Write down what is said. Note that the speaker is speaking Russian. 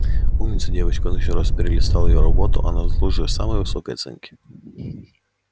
умница девочка он ещё раз перелистал её работу она заслуживает самой высокой оценки